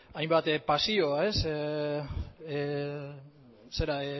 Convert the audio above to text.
hainbat pasio